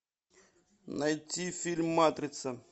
найти фильм матрица